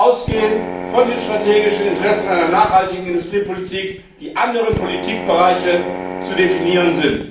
Im Gegenteil, wir müssen ausgehend von den strategischen Interessen einer nachhaltigen Industriepolitik die anderen Politikbereiche definieren.